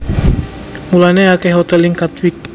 Mulané akèh hotèl ing Katwijk